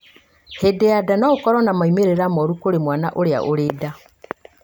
hĩndĩ ya nda no ũkorwo na maũmĩrĩra moru kũrĩ mwana ũrĩa ũrĩ nda